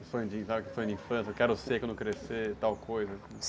Um sonho de... Sabe aquele sonho de infância, quero ser quando crescer, tal coisa.